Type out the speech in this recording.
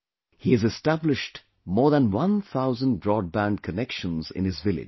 He has established more than one thousand broadband connections in his village